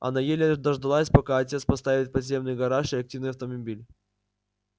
она еле дождалась пока отец поставит в подземный гараж реактивный автомобиль